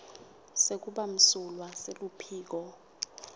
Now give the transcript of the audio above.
sekuba msulwa seluphiko